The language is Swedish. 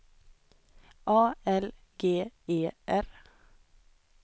A L G E R